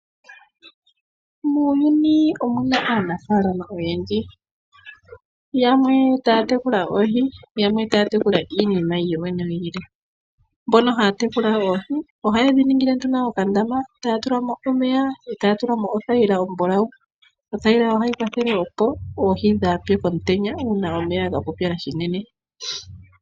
Muuyuni omuna aanafalama yendji yanwe taya tekula oohi yamwe taya tekula iinima yilwe. Mbono haya tekula oohi oha yedhi tungile okandama mono haya tula mo othayila ombulawu ndjono hayi keelele oohi dhaase omutenya uuna kwapupyala shinene.